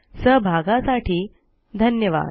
सहभागासाठी धन्यवाद